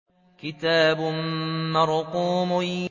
كِتَابٌ مَّرْقُومٌ